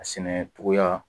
A sɛnɛcogoya